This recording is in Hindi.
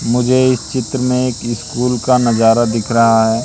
मुझे इस चित्र में एक स्कूल का नजारा दिख रहा है।